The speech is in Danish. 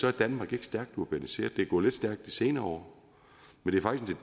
er danmark ikke stærkt urbaniseret det er gået lidt stærkt i de senere år men